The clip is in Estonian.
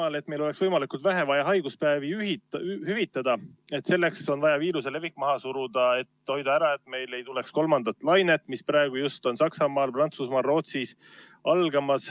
Selleks, et meil oleks võimalikult vähe vaja haiguspäevi hüvitada, on vaja viiruse levik maha suruda ja hoida ära, et meil ei tuleks kolmandat lainet, mis on praegu algamas Saksamaal, Prantsusmaal ja Rootsis.